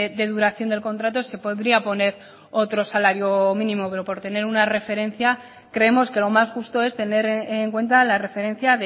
de duración del contrato se podría poner otros salario mínimo pero por tener una referencia creemos que lo más justo es tener en cuenta la referencia